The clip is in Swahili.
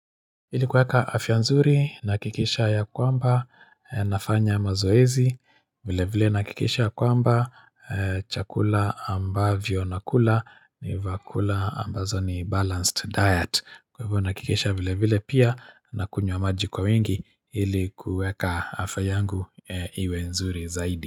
Ili kuweka afya nzuri na hakikisha ya kwamba nafanya mazoezi vile vile na hakikisha kwamba chakula ambavyo nakula ni vyakula ambazo ni balanced diet Kwa hivyo na hakikisha vile vile pia na kunywa maji kwa wingi ili kuweka afya yangu iwe nzuri zaidi.